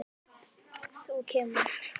Þú kemur.